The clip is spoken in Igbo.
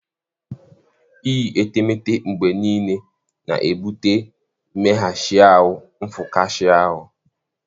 Iyi etemeete mgbe niile na-ebute mmeghachi ahụ nfụkasị ahụ.